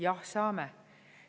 Jah, saame.